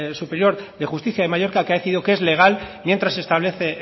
superior de justicia de mallorca que ha decidido que es legal mientras se establece